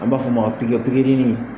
An b'a fɔ ma pikiri in